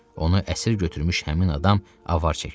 Onu əsir götürmüş həmin adam avar çəkirdi.